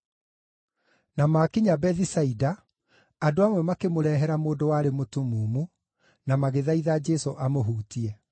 Na maakinya Bethisaida, andũ amwe makĩmũrehera mũndũ warĩ mũtumumu, na magĩthaitha Jesũ amũhutie.